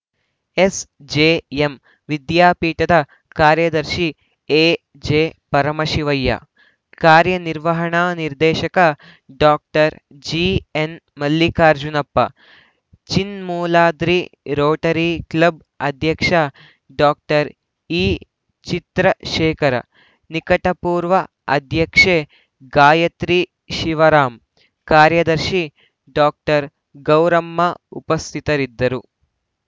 SJM ವಿದ್ಯಾಪೀಠದ ಕಾರ್ಯದರ್ಶಿ ಎಜೆಪರಮಶಿವಯ್ಯ ಕಾರ್ಯನಿರ್ವಹಣಾ ನಿರ್ದೇಶಕ ಡಾಕ್ಟರ್ ಜಿಎನ್‌ಮಲ್ಲಿಕಾರ್ಜುನಪ್ಪ ಚಿನ್ಮೂಲಾದ್ರಿ ರೋಟರಿ ಕ್ಲಬ್‌ ಅಧ್ಯಕ್ಷ ಡಾಕ್ಟರ್ ಈಚಿತ್ರಶೇಖರ್‌ ನಿಕಟಪೂರ್ವ ಅಧ್ಯಕ್ಷೆ ಗಾಯತ್ರಿ ಶಿವರಾಂ ಕಾರ್ಯದರ್ಶಿ ಡಾಕ್ಟರ್ ಗೌರಮ್ಮ ಉಪಸ್ಥಿತರಿದ್ದರು